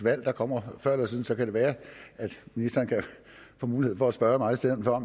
valg der kommer før eller siden og så kan det være ministeren kan få mulighed for at spørge mig i stedet for